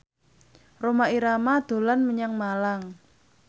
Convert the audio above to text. Rhoma Irama dolan menyang Malang